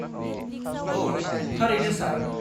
-औ, थारैनो, सार।